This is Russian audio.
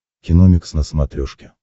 киномикс на смотрешке